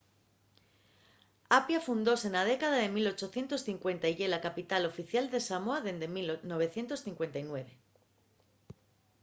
apia fundóse na década de 1850 y ye la capital oficial de samoa dende 1959